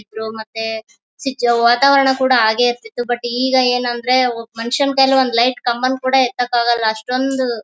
ಇದ್ರೂ ಮತ್ತೆ ವಾತಾವರಣ ಹಾಗೆ ಇರ್ತಿತ್ತು ಬಟ್ ಈಗ ಏನಂದರೆ ಒಬ್ಬ ಮನುಷ್ಯನ ಕೈಯಲ್ಲಿ ಒಂದ್ ಲೈಟ್ ಕಂಬ ಕೂಡ ಎತ್ತಕ್ಕೆ ಆಗೋಲ್ಲ ಅಷ್ಟೊಂದ್ --